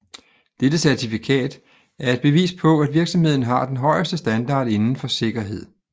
Dette certifikat er et bevis på at virksomheden har den højeste standard inden for sikkerhed